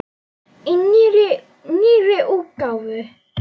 Í nýrri útgáfu!